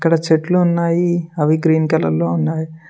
ఇక్కడ చెట్లు ఉన్నాయి అవి గ్రీన్ కలర్లో ఉన్నాయి.